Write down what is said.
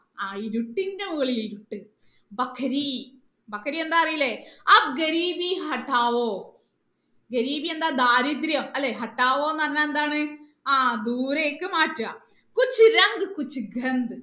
ആ ഇരുട്ടിന്റെ മുകളിൽ ഇരുട്ട് എന്താണ് അറിയൂലെ എന്താ ദാരിദ്രം അല്ലെ എന്ന് പറഞ്ഞാൽ എന്താണ് ആ ദൂരേക്ക് മാറ്റുക